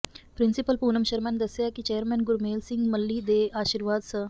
principal Poonam Sharma ਨੇ ਦੱਸਿਆ ਕਿ ਚੇਅਰਮੈਨ ਗੁਰਮੇਲ ਸਿੰਘ ਮੱਲ੍ਹੀ ਦੇ ਆਸ਼ੀਰਵਾਦ ਸ